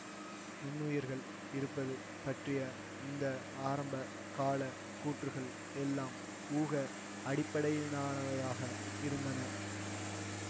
நுண்ணுயிர்கள் இருப்பது பற்றிய இந்த ஆரம்ப கால கூற்றுகள் எல்லாம் ஊக அடிப்படையிலானவையாக இருந்தன